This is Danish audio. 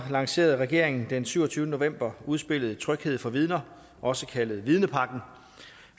lancerede regeringen den syvogtyvende november udspillet tryghed for vidner også kaldet vidnepakken